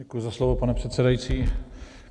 Děkuji za slovo, pane předsedající.